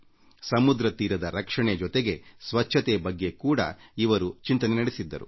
ಸಮುದ್ರ ತೀರದ ರಕ್ಷಣೆ ಜೊತೆಗೆ ಸ್ವಚ್ಛತೆ ಬಗ್ಗೆ ಕೂಡ ಇವರು ಚಿಂತನೆ ನಡೆಸಿದ್ದರು